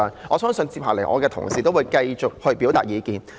我相信接下來同事會繼續表達意見。